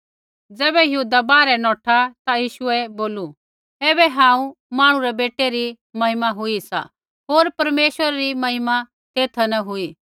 ज़ैबै यहूदा बाहरै नौठा ता यीशुऐ बोलू ऐबै हांऊँ मांहणु रै बेटै री महिमा हुई सा होर परमेश्वरै री महिमा तेथा न हुई